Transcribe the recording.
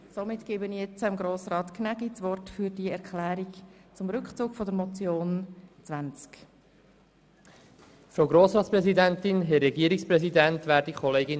Somit gebe ich das Wort Grossrat Gnägi für die Erklärung zum Rückzug seiner Motion.